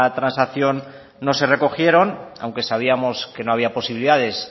transacción no se recogieron aunque sabíamos que no había posibilidades